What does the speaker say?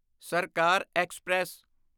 ਸਰਕਾਰ ਐਕਸਪ੍ਰੈਸ